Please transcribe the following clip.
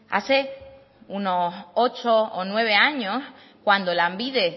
hace unos ocho o nueve años cuando lanbide